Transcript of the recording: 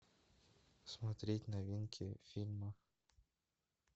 смотреть новинки фильмов